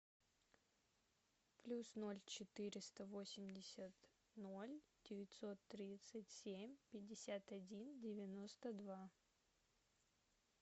плюс ноль четыреста восемьдесят ноль девятьсот тридцать семь пятьдесят один девяносто два